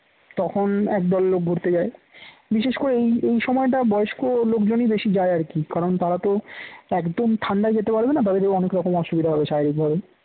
তখন একদল লোক ঘুরতে যায় বিশেষ করে এই এই সময়টা বয়স্ক লোকজনই বেশি যায় আর কি কারণ তারা তো একদম ঠাণ্ডায় যেতে পারবে না কারণ তাদের অনেক রকম অসুবিধা হবে স্বাভাবিকভাবে